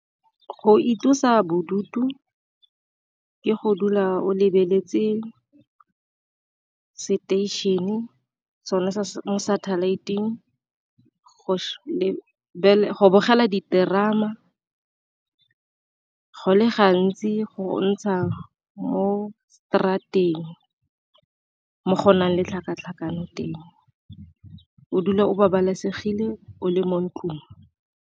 Go itlosa bodutu ke go dula o lebeletse seteišene sone sa satellite-ing go bogela diterama, go le gantsi go ntsha mo straat-eng mo go o nang le tlhakatlhakano teng o dule o babalesegile o le mo ntlong.